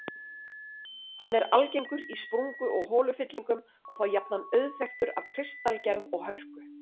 Hann er algengur í sprungu- og holufyllingum og þá jafnan auðþekktur af kristalgerð og hörku.